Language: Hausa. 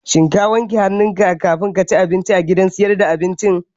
Shin ka wanke hannunka kamin ka ci abinci a gidan sayar da abincin?